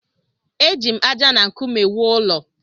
Eji m ájá na nkume wuo ụlọ.